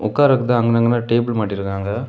உக்கார்றதுக்கு அங்கன அங்கன டேபிள் மாட்டிருக்காங்க.